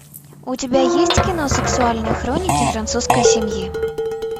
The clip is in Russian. у тебя есть кино сексуальные хроники французской семьи